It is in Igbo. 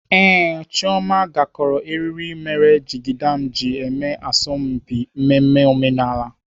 Ee, Chioma gakọrọ eriri mere jigida m ji eme asọmpi mmemme omenala.